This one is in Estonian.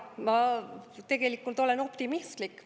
Ma tegelikult olen optimistlik.